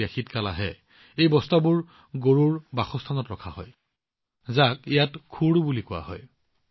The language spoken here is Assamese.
যেতিয়া শীত কাল আহে এই বস্তাবোৰ গৰুৰ বাসস্থানত ৰখা হয় যাক ইয়াত খুদ বুলি কোৱা হয়